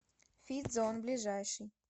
фит зон ближайший